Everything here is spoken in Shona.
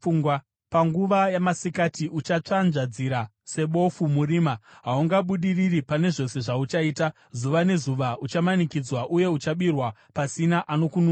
Panguva yamasikati uchatsvanzvadzira sebofu murima. Haungabudiriri pane zvose zvauchaita; zuva nezuva uchamanikidzwa uye uchabirwa pasina anokununura.